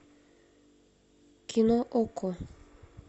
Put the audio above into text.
кино окко